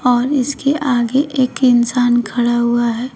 और इसके आगे एक इंसान खड़ा हुआ है।